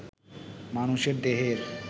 মানুষের দেহের